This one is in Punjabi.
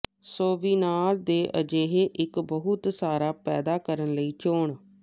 ਸੋਵੀਨਾਰ ਦੇ ਅਜਿਹੇ ਇੱਕ ਬਹੁਤ ਸਾਰਾ ਪੈਦਾ ਕਰਨ ਲਈ ਚੋਣ